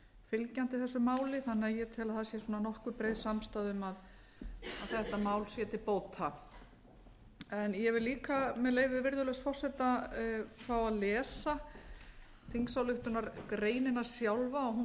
fylgjandi þessu máli þannig að ég tel að það sé nokkuð breið samstaða um að þetta mál sé til bóta ég vil líka með leyfi virðulegs forseta fá að lesa þingsályktunargreinina sjálfa hún